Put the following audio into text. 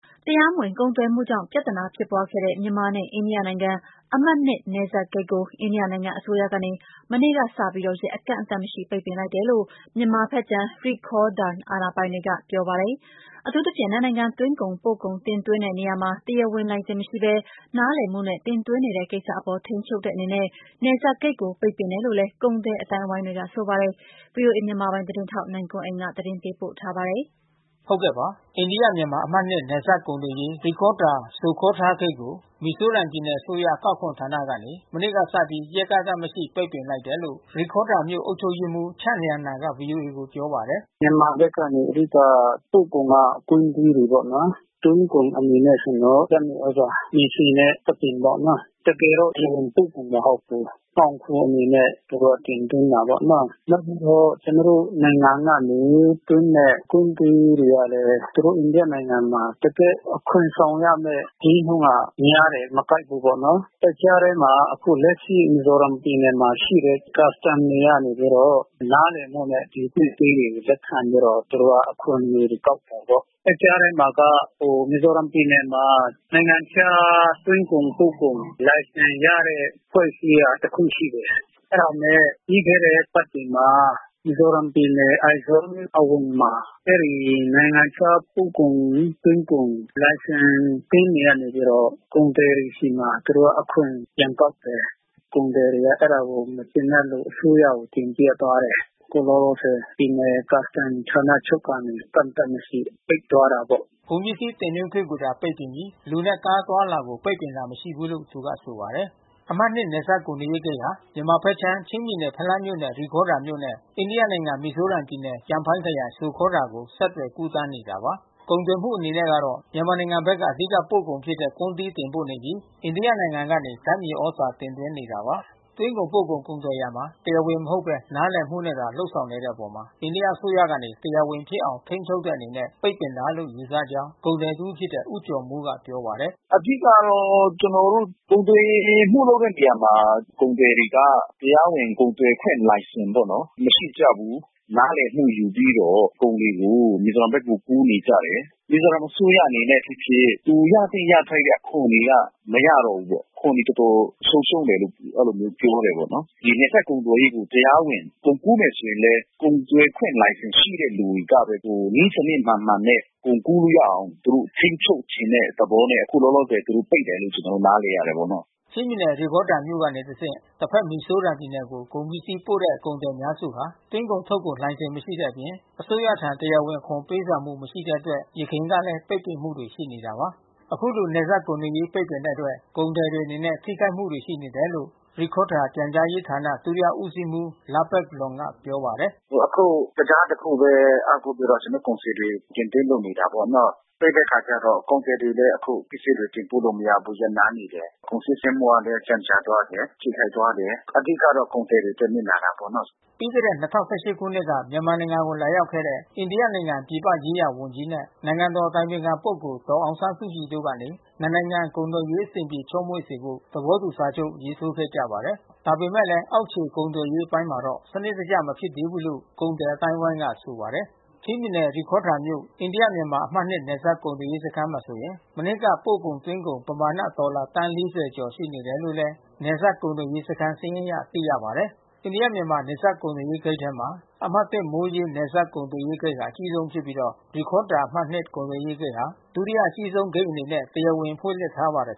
တရားမဝင် ကုန်သွယ်မှုကြောင့် ပြဿနာ ဖြစ်ပွားခဲ့တဲ့ မြန်မာနဲ့ အိန္ဒိယနိုင်ငံ အမှတ် ၂ နယ်စပ်ဂိတ်ကို အိန္ဒိယနိုင်ငံ အစိုးရကနေ မနေ့ကစပြီး ရက်အကန့်အသတ်မရှိ ပိတ်ပင်လိုက်တယ်လို့ မြန်မာဘက်ခြမ်း ရိခေါဒါရ် အာဏာပိုင်တွေက ပြောပါတယ်။ အထူးသဖြင့် နှစ် နိုင်ငံ သွင်းကုန် ပို့ကုန်တင်သွင်းတဲ့ နေရာမှာ တရားဝင်လိုင်စင် မရှိဘဲ နားလည်မှုနဲ့ တင်သွင်းနေတဲ့ ကိစ္စအပေါ် ထိန်းချုပ်တဲ့အနေနဲ့ နယ်စပ်ဂိတ်ကို ပိတ်ပင်တယ်လို့လည်း ကုန်သည် အသိုင်းဝိုင်းတွေက ဆိုပါတယ်။ ဗွီအိုအေ မြန်မာပိုင်းသတင်းထောက် နိုင်ကွန်းအိန်ကနေ သတင်းပေးပို့ထားပါတယ်။ အိန္ဒိယ-မြန်မာ အမှတ် ၂ နယ်စပ်ကုန်သွယ်ရေး ရိခေါဒါရ် - ဇိုခေါထားဂိတ်ကို မီဇိုရမ်ပြည်နယ် အစိုးရ အကောက်ခွန်ဌာနကနေ မနေ့ကစပြီး ရက်အကန့်သတ်မရှိ ပိတ်ပင်လိုက်တယ်လို့ ရိခေါဒါရ်မြို့ အုပ်ချုပ်ရေးမှူး ချန့်လျန်နာ က ဗွီအိုအေကို ပြောပါတယ်။ “မြန်မာဘက်က အဓိက ပို့ကုန်က ကွမ်းသီးတွေပေါ့နော်။ သွင်းကုန်အနေနဲ့ မြေဆီ ဓါတ်မြေသြဇာနဲ့ ဆံပင်ပေါ့နော်။ တကယ်တော့ တရားဝင် ပို့ကုန် မဟုတ်ဘူး။ မှောင်ခိုအနေနဲ့ သူတို့ တင်သွင်းတာပေါ့နော်။ နောက်ပြီး ကျနော်တို့ နိုင်ငံကနေသွင်းတဲ့ ကွမ်းသီးတွေကလည်း သူတို့ အိန္ဒိယနိုင်ငံမှာ တကယ့် အခွန်တောင်းရတဲ့ ဈေးနှုန်းက များတယ်။ မကိုက်ဘူးပေါ့နော်။ အဲဒီကြားထဲမှာ အခုလက်ရှိ မီဇီုရမ်ပြည်နယ်မှာ ရှိတဲ့ ကတ်စတန်တွေကနေပြီးတော့ နားလည်မှုနဲ့ ဒီပစ္စည်းတွေကို လက်ခံပြီးတော့ သူတို့က အခွန်တွေ ကောက်တယ်ပေါ့။ အဲဒီကြားထဲမှာ မီဇီုရမ်ပြည်နယ်မှာ နိုင်ငံခြား သွင်းကုန်ပို့ကုန် လိုင်စင်ရတဲ့ အဖွဲ့အစည်းက တခု ရှိတယ်။ အဲတာနဲ့ပြီးခဲ့တဲ့ အပတ်တွေမှာ မီဇီုရမ်ပြည်နယ် အိုက်ဇော အဝင်မှာ အဲဒီ နိုင်ငံခြား ပို့ကုန်သွင်းကုန် လိုင်စင်ရ အသင်းနေပြီးတော့ ကုန်သည်တွေဆီမှာ သူတို့က အခွန်ပြန်ကောက်တယ်။ ကုန်သည်တွေကမကျေနပ်လို့ အစိုးရကိုတင်ပြသွားတယ်။ အခုလောလောဆယ် ပြည်နယ်ကတ်စတန် ဌာနချုပ်ကနေ အကန့်သတ်မရှိပိတ်သွားတာပေါ့။” ကုန်ပစ္စည်းတင်သွင်းခွင့်ကိုသာ ပိတ်ပင်ပြီး လူနဲ့ ကားအသွားအလာကို ပိတ်ပင်တာ မရှိဘူးလို့ သူက ဆိုပါတယ်။ အမှတ်၂ နယ်စပ် ကုန်သွယ်ရေးဂိတ်ဟာ မြန်မာဘက်ခြမ်း ချင်းပြည်နယ် ဖလမ်းမြို့နယ် ရိခေါဒါမြို့နဲ့ အိန္ဒိယနိုင်ငံမီဇိုရမ်ပြည်နယ် ကျန်ဖိုင်းခရိုင်ဇိုခေါထား ကို ဆက်သွယ် ကူးသန်းနေတာပါ။ ကုန်သွယ်မှုအနေနဲ့ကတော့ မြန်မာနိုင်ငံဘက်က အဓိက ပို့ကုန်ဖြစ်တဲ့ ကွမ်းသီးတင်ပို့နေပြီး အိန္ဒိယနိုင်ငံကနေ ဓါတ်မြေသြဇာ တင်သွင်းနေတာပါ။ သွင်းကုန်ပို့ကုန် ကုန်သွယ်ရာမှာ တရားဝင် မဟုတ်ဘဲ နားလည်မှုနဲ့သာ လုပ်ဆောင်နေတဲ့အပေါ် အိန္ဒိယအစိုးရကနေ တရားဝင်ဖြစ်အောင် ထိန်းချုပ်တဲ့အနေနဲ့ ပိတ်ပင်တာလို့ ယူဆကြောင်း ကုန်သည် တဦး ဖြစ်တဲ့ ဦးကျော်မိုးက ပြောပါတယ်။ “အဓိကကတော့ ကျနော်တို့ ကုန်သွယ်မှုလုပ်တဲ့ နေရာမှာ ကုန်သည်တွေက တရားဝင် ကုန်သွယ်ခွင့် လိုင်စင်ပေါ့နော် မရှိကြဘူး။ နားလည်မှု ယူပြီးတော့ ကုန်တွေကို မီဇီုရမ်ဘက်ကို ကူးနေကြတယ်။ မီဇီုရမ်အစိုးရအနေနဲ့ ဖြစ်ဖြစ် သူရသင့်ရထိုက်တဲ့ အခွန်တွေက မရတော့ဘူးပေါ့။ အခွန်တွေ တော်တော်ဆုံးရှုံးတယ်လို့ အဲဒီလိုမျိုး ပြောတယ်ပေါ့နော်။ ဒီနယ်စပ်ကုန်သွယ်ရေးကို ကုန်ကူးမယ်ဆိုရင်လည်း ကုန်သွယ်ခွင့် လိုင်စင် ရှိတဲ့လူတွေကပဲ နည်းစနစ်မှန်မှန်နဲ့ ကုန်ကူးလို့ရအောင် သူတို့ထိန်းချုပ်တဲ့သဘောနဲ့ အခုလောလောဆယ် သူတို့ ပိတ်တယ်လို့ ကျနော်တို့ နားလည်ရတာပေါ့နော်။” ချင်းပြည်နယ် ရိခေါဒါရ်မြို့မှ တဆင့် တဘက်မီဇိုရမ်ပြည်နယ်ကို ကုန်ပစ္စည်းတင်ပို့တဲ့ ကုန်သည်အများစုဟာ သွင်းကုန်ထုတ်ကုန် လိုင်စင် မရှိတဲ့အပြင် အစိုးရထံ တရားဝင်အခွန် ပေးဆောင်မှု မရှိတဲ့အတွက် ယခင်ကလဲ ပိတ်ပင်မှုတွေ ရှိနေတာပါ။ အခုလို နယ်စပ်ကုန်သွယ်ရေး ပိတ်ပင်တဲ့အတွက် ကုန်သည်တွေအနေနဲ့ ထိခိုက်မှုတွေ ရှိနေတယ်လို့ ရိခေါဒါရ်ပြန်ကြားရေးဌာန ဒုတိယဦးစီးမှူး လားပက်လောမ်က ပြောပါတယ်။ “အခုတံတား တခုပဲ အားကိုးပြီး ကျနော်တို့ ကုန်စည်တွေ တင်သွင်းလုပ်နေကြတယ်ပေါ့နော်။ ပိတ်တဲ့အခါကျတော့ ကုန်သည်တွေလည်း အဲခုပစ္စည်းတွေ တင်ပို့လို့ မရဘူး။ ရပ်နားနေရတယ်။ ကုန်စီးဆင်းမှုကလည်း ကြန့်ကြာသွားတယ်။ ထိခိုက်သွားတယ်။ အဓိကကတော့ ကုန်သည်တွေအတွက် နစ်နာတာပေါ့နော်။” ပြီးခဲ့တဲ့ ၂၀၁၈ ခုနှစ်က မြန်မာနိုင်ငံကို လာရောက်ခဲ့တဲ့ အိန္ဒိယ ပြည်ပရေးရာဝန်ကြီးနဲ့ နိုင်ငံတော် အတိုင်ပင်ခံ ပုဂ္ဂိုလ် ဒေါ်အောင်ဆန်းစုကြည်တို့ကနေ နှစ် နိုင်ငံ နယ်စပ်ကုန်သွယ်ရေးအဆင်ပြေ ချောမွေ့စေဖို့ သဘောတူ စာချုပ် ရေးထိုးခဲ့ကြပါတယ်။ ဒါပေမဲ့လည်း အောက်ခြေ ကုန်သွယ်ရေးအပိုင်းမှာတော့ စနစ်တကျ မဖြစ်သေးဘူးလို့ ကုန်သည် အသိုင်းဝိုင်းက ဆိုပါတယ်။ ချင်းပြည်နယ် ရိခေါဒါရ်မြို့ အိန္ဒိယ-မြန်မာ အမှတ် ၂ နယ်စပ်ကုန်သွယ်ရေး စခန်းမှာဆိုရင် မနှစ်က ပို့ကုန်သွင်းကုန် ပမာဏ ဒေါ်လာသန်း ၄၀ ကျော်ရှိ နေတယ်လို့ နယ်စပ်ကုန်သွယ်ရေး စခန်း စာရင်းအရ သိရပါတယ်။ အိန္ဒိယ-မြန်မာနယ်စပ် ကုန်သွယ်ရေးဂိတ်ထဲမှာ အမှတ် ၁ မိုးရေးနယ်စပ် ကုန်သွယ်ရေးဂိတ်ဟာ အကြီးဆုံးဖြစ်ပြီး ရိခေါ ဒါရ် အမှတ် ၂ ကုန်သွယ်ရေး ဂိတ်ဟာ ဒုတိယ အကြီးဆုံးဂိတ်အနေနဲ့ တရားဝင် ဖွင့်လှစ်ထားပါတယ်